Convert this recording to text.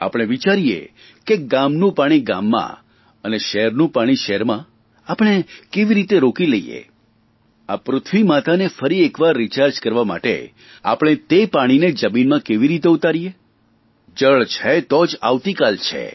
આપણે વિચારીએ કે ગામનું પાણી ગામમં અને શહેરનું પાણી શહેરમાં આપણે કેવી રીતે રોકી લઇએ આ પૃથ્વી માતાને ફરી એરવાર રીચાર્જ કરવા માટે આપણે તે પાણીને ફરીથી જમીનમાં કેવી રીતે ઉતારીએ જળ છે તો જ આવતીકાલ છે